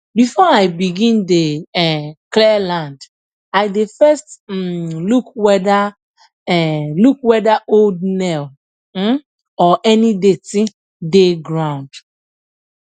before i begin dey um clear land i dey first um look whether um look whether old nail um or any dirty dey ground